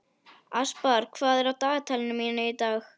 Aspar, hvað er á dagatalinu mínu í dag?